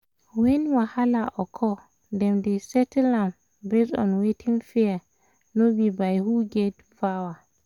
when wahala occur dem dey settle am based on wetin fair no be by who get power